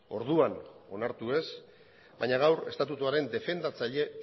orduan onartu ez baina gaur estatutuaren defendatzaile